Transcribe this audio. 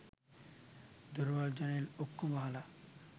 දොරවල් ජනෙල් ඔක්කෙම වහලා